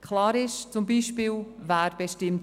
Klar ist zum Beispiel, wer die Löhne bestimmt.